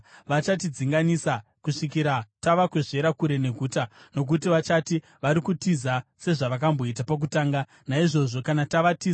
Vachatidzinganisa kusvikira tavakwezvera kure neguta, nokuti vachati, ‘Vari kutitiza sezvavakamboita pakutanga.’ Naizvozvo kana tavatiza,